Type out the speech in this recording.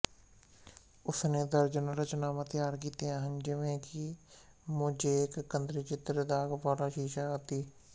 ਉਸਨੇ ਦਰਜਨਾਂ ਰਚਨਾਵਾਂ ਤਿਆਰ ਕੀਤੀਆਂ ਹਨ ਜਿਵੇਂ ਕਿ ਮੋਜ਼ੇਕ ਕੰਧਚਿੱਤਰ ਦਾਗ਼ ਵਾਲਾ ਸ਼ੀਸ਼ਾ ਆਦਿ